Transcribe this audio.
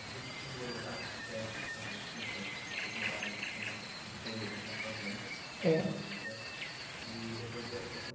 Você disse que morou já quando você era, eh, na sua infância, vocês moraram na, em uma, um período em uma fazenda. É. exército, e depois vieram para São